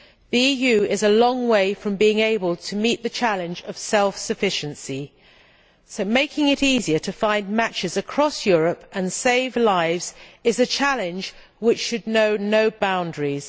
The EU is a long way from being able to meet the challenge of self sufficiency, so making it easier to find matches across Europe and save lives is a challenge which should know no boundaries.